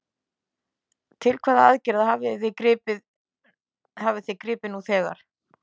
Til hvaða aðgerða hafið þið gripið nú þegar?